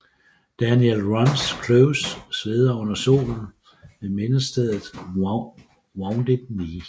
Daniel Runs Close sveder under solen ved mindestedet Wounded Knee